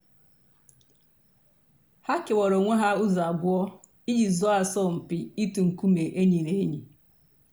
hà kèwàrà ònwè hà ǔzọ̀ àbụọ̀ íjì zọọ àsọ̀mpị̀ ị̀tụ̀ ńkùmé̀ ènyì nà ènyì.